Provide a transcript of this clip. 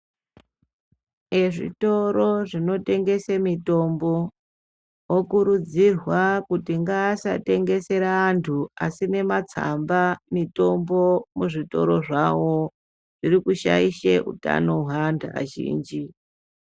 Ezvitoro zvinotengesa mitombo okurudzirwa kuti ngaasatengesere anthu asina matsamba mitombo muzvitora zvao zviri kushaisha utano hweanthu azhinji.